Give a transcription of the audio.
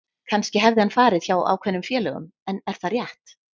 Kannski hefði hann farið hjá ákveðnum félögum en er það rétt?